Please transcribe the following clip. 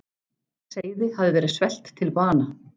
Seiði hafa verið svelt til bana.